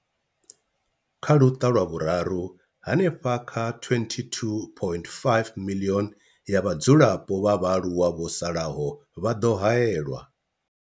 Kha Luṱa lwa Vhuraru, hanefha kha 22.5 miḽioni ya vhadzulapo vha vhaaluwa vho salaho vha ḓo haelwa.